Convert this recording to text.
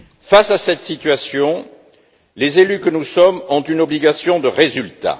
Face à cette situation, les élus que nous sommes ont une obligation de résultat.